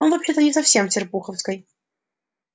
он вообще-то не совсем с серпуховской